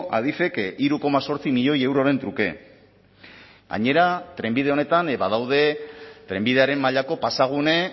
adifek hiru koma zortzi milioi euroren truke gainera trenbide honetan badaude trenbidearen mailako pasagune